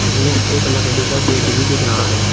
इसमें एक लकड़ी का गेट भी दिख रहा है।